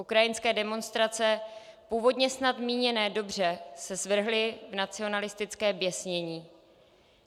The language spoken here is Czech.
Ukrajinské demonstrace, původně snad míněné dobře, se zvrhly v nacionalistické běsnění.